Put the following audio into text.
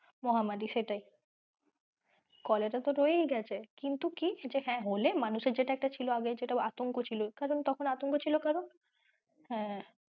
মহামারি সেটাই কলেরা তো রয়েই গেছে কিন্তু কি যে হ্যাঁ হলে মানুষের যেটা একটা ছিল আগে আতঙ্ক ছিল এখন কারন তখন আতঙ্ক ছিল কারন হ্যাঁ সেটাই।